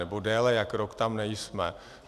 Nebo déle jak rok tam nejsme.